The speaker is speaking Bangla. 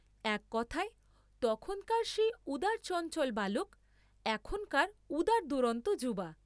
এক কথায়, তখনকার সেই উদারচঞ্চল বালক, এখনকার উদারদুরন্ত যুবা।